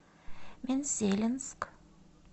мензелинск